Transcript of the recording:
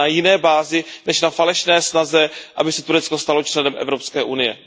Ale na jiné bázi než na falešné snaze, aby se Turecko stalo členem Evropské unie.